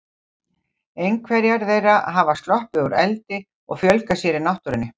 Einhverjar þeirra hafa sloppið úr eldi og fjölgað sér í náttúrunni.